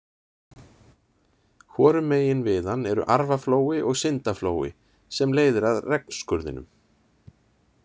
Hvorum megin við hann eru Arfaflói og Syndaflói sem leiðir að Regnskurðinum.